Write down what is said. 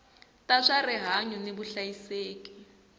ta swa rihanyu ni vuhlayiseki